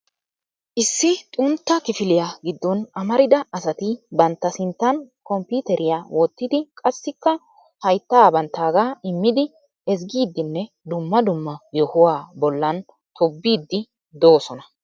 Issi xuntta kifiliya giddon amarida asati bantta sinttan komppiiteriya wottidi qassikka haytta banttaaga immidi ezggidinne dumma dumma yohuwaa bollan tobbiidi doosona.